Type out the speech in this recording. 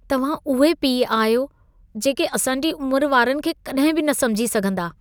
तव्हां उहे पीउ आहियो जेके असां जी उम्र वारनि खे कॾहिं बि न समुझी सघंदा।